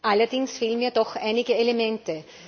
Allerdings fehlen mir doch einige Elemente.